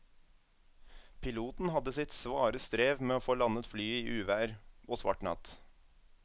Piloten hadde sitt svare strev med å få landet flyet i uvær og svart natt.